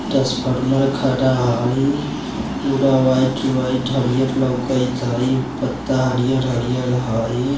टास्फॉर्मर खड़ा हई पूरा वाइट वाइट हरियर लौकैत हई पत्ता हरियर-हरियर हई।